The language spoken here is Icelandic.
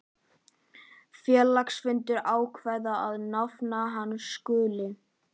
Félagsfundur ákveður að nafn hans skuli